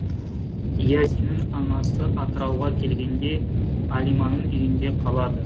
иасиннің анасы атырауға келгенде әлиманың үйінде қалады